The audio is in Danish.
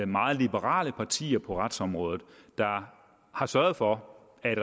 meget liberale partier på retsområdet der har sørget for at